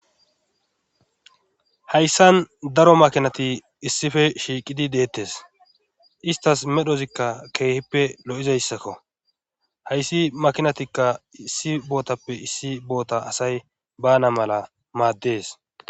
hayssan daro makinati issife shiiqidi deettes istas medhozikka keehippe lo7izayssakko hayssi makinatikka issi bootappe issi boota asay bana mala maaddes